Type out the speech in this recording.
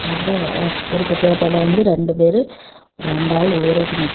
அப்ரொ ஒரு பிட்டாட்டோல வந்து ரெண்டு பேரு ரெண்டாளு ஏறிட்டு நிக்குது.